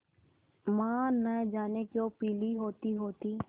माँ न जाने क्यों पीली होतीहोती